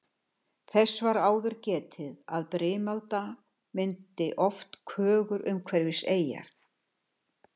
Þess var áður getið að brimalda myndi oft kögur umhverfis eyjar.